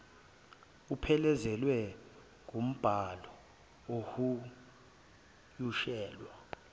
uphelezelwa ngumbhalo ohunyushelwe